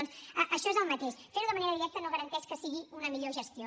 doncs això és el mateix fer ho de manera directa no garanteix que sigui una millor gestió